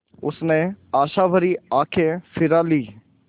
उसने आशाभरी आँखें फिरा लीं